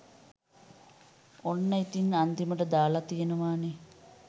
ඔන්න ඉතින් අන්තිමට දාල තියෙනවනේ